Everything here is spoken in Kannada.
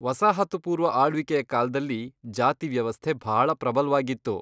ವಸಾಹತು ಪೂರ್ವ ಆಳ್ವಿಕೆಯ ಕಾಲ್ದಲ್ಲಿ ಜಾತಿ ವ್ಯವಸ್ಥೆ ಭಾಳ ಪ್ರಬಲ್ವಾಗಿತ್ತು.